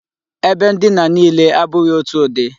Ebe ndina niile abụghị otu ụdị.